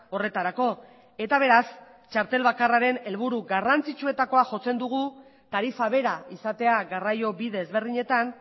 horretarako eta beraz txartel bakarraren helburu garrantzitsuenetakoa jotzen dugu tarifa bera izatea garraio bide ezberdinetan